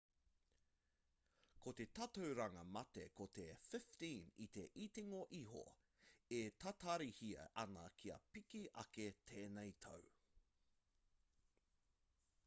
ko te tatauranga mate ko te 15 i te itinga iho e tatarihia ana kia piki ake tēnei tau